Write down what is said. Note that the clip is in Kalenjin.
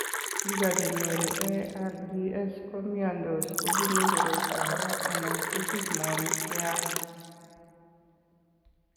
Biko che nyoru ARDS ko miandos kobunu koroito age anan kosich moonik che yach.